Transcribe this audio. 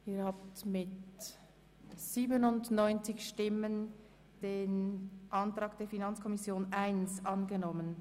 Sie haben die Planungserklärung 1 der FiKoMinderheit angenommen.